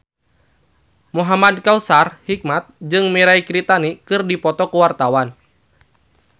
Muhamad Kautsar Hikmat jeung Mirei Kiritani keur dipoto ku wartawan